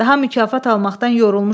Daha mükafat almaqdan yorulmuşam.